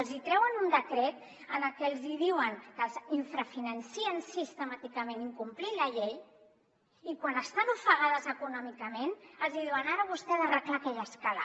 els treuen un decret en el que els diuen que les infrafinancen sistemàticament incomplint la llei i quan estan ofegades econòmicament els diuen ara vostè ha d’arreglar aquella escala